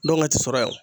Dɔn ka ti sɔrɔ yan